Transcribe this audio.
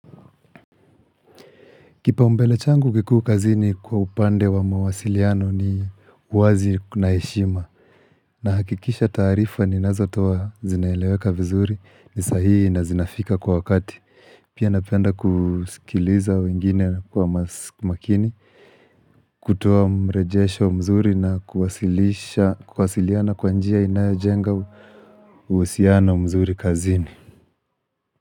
Kipaumbele changu kikuu kazini kwa upande wa mawasiliano ni wazi na heshima Nahakikisha taarifa ni nazotoa zinaeleweka vizuri ni sahii na zinafika kwa wakati Pia napenda kusikiliza wengine kwa makini kutoa mrejesho mzuri na kuwasiliana kwa njia inayojenga uhusiano mzuri kazini.